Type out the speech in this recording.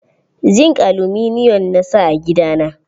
Zingi aluminiyon na sa a gida na.